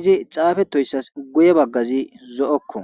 izi xaafetoyssas guye baggazi zo7okko.